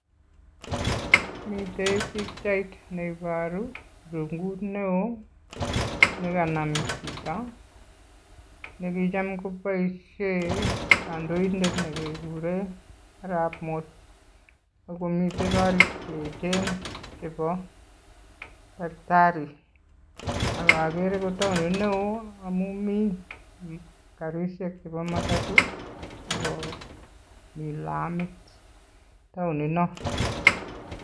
Miten piichait neiboru irungut neo nekanam chito nekicham koboisien kandoinet nekekuren Arap Moi. Ak komiten korik cheechen chebo takitari ak okere ko taonit neo amun mi karisiek chebo matato ak komi lamit taoninon.